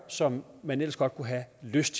som man ellers godt kunne have lyst